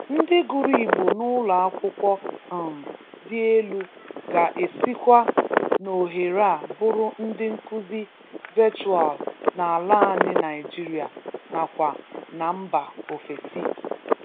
Ndị gụrụ Igbo n'ụlọ akwụkwọ um dị elu ga-esikwa n'ohere a bụrụ ndị nkụzi vechụal n'ala anyị Naịjiria n'akwa na mba ofesi.